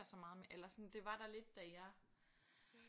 Så meget eller sådan det var der lidt da jeg